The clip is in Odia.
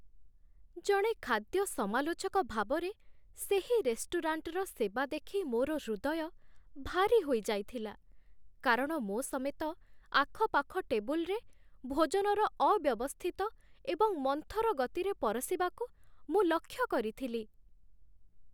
ଜଣେ ଖାଦ୍ୟ ସମାଲୋଚକ ଭାବରେ, ସେହି ରେଷ୍ଟୁରାଣ୍ଟର ସେବା ଦେଖି ମୋର ହୃଦୟ ଭାରୀ ହୋଇଯାଇଥିଲା କାରଣ ମୋ ସମେତ ଆଖପାଖ ଟେବୁଲରେ ଭୋଜନର ଅବ୍ୟବସ୍ଥିତ ଏବଂ ମନ୍ଥର ଗତିରେ ପରଶିବାକୁ ମୁଁ ଲକ୍ଷ୍ୟ କରିଥିଲି